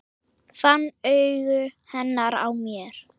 Fann augu hennar á mér.